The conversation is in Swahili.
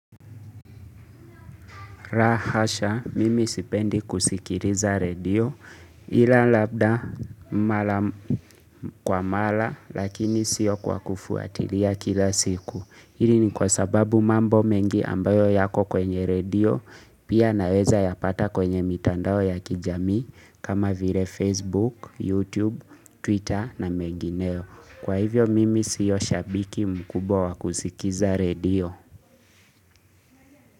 Lahasha, mimi sipendi kusikiliza redio ila labda mara kwa mara lakini siyo kwa kufuatilia kila siku. Hili ni kwa sababu mambo mengi ambayo yako kwenye redio pia naweza yapata kwenye mitandao ya kijamii kama vile Facebook, YouTube, Twitter na mengineo. Kwa hivyo mimi siyo shabiki mkubwa wa kusikiza redio.